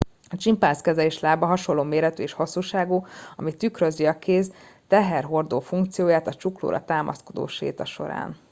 a csimpánz keze és lába hasonló méretű és hosszúságú ami tükrözi a kéz teherhordó funkcióját a csuklóra támaszkodó séta során